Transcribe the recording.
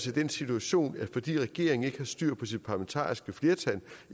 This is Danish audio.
i den situation at fordi regeringen ikke har styr på sit parlamentariske flertal og